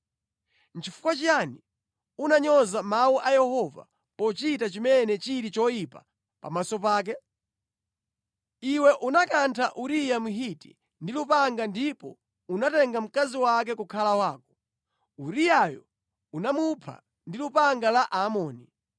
Nʼchifukwa chiyani unanyoza mawu a Yehova pochita chimene chili choyipa pamaso pake? Iwe unakantha Uriya Mhiti ndi lupanga ndipo unatenga mkazi wake kukhala wako. Uriyayo unamupha ndi lupanga la Aamoni.